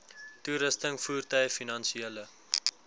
toerusting voertuie finansiële